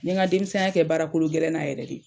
N ye nka denmisɛn ya kɛ baara kologɛlɛn na yɛrɛ de.